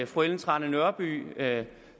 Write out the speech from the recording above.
fru ellen trane nørby